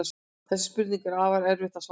Þessari spurningu er afar erfitt að svara.